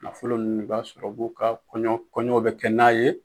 Nafolo ninnu b'a sɔrɔ u b'u ka kɔɲɔ kɔɲɔ bɛ kɛ n'a ye.